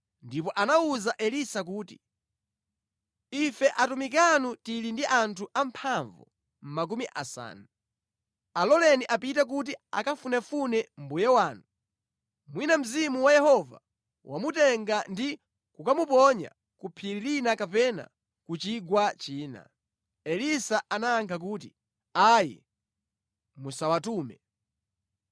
Ndipo anawuza Elisa kuti, “Ife atumiki anu tili ndi anthu amphamvu makumi asanu. Aloleni apite kuti akafunefune mbuye wanu. Mwina Mzimu wa Yehova wamutenga ndi kukamuponya ku phiri lina kapena ku chigwa china.” Elisa anayankha kuti, “Ayi, musawatume.”